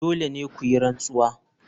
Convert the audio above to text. Dole ne ku yi rantsuwa.